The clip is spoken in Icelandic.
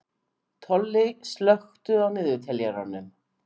Tolli, slökktu á niðurteljaranum.